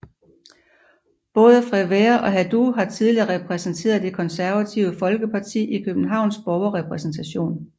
Både Frevert og Haddou har tidligere repræsenteret Det Konservative Folkeparti i Københavns Borgerrepræsentation